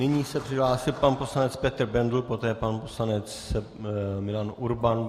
Nyní se přihlásil pan poslanec Petr Bendl, poté pan poslanec Milan Urban.